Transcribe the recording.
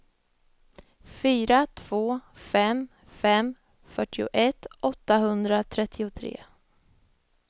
fyra två fem fem fyrtioett åttahundratrettiotre